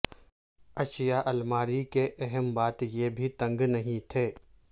اشیاء الماری کہ اہم بات یہ بھی تنگ نہیں تھے